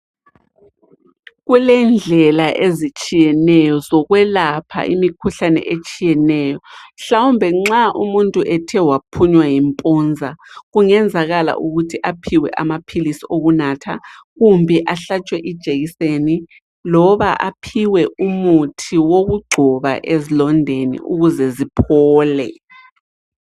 Kulendlela ezitshiyeneyo zokwelapha imikhuhlane etshiyeneyo. Mhlawumbe nxa umuntu ethe waphunywa yimpunza kungenzakala ukuthi aphiwe amaphilisi okunatha kumbe ahlatshwe ijekiseni loba aphiwe umuthi wokugcoba ezilondeni ukuze ziphole.